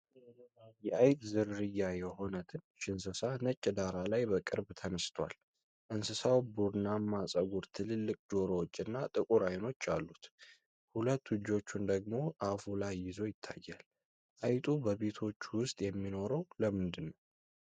የአይጥ ዝርያ የሆነ ትንሽ እንስሳ ነጭ ዳራ ላይ በቅርብ ተነስቷል። እንስሳው ቡናማ ፀጉር፣ ትልልቅ ጆሮዎች እና ጥቁር አይኖች አሉት፤ ሁለት እጆቹን ደግሞ አፉ ላይ ይዞ ይታያል። አይጡ በቤቶች ውስጥ የሚኖረው ለምንድነው?